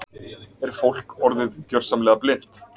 Er fólk orðið gjörsamlega blint?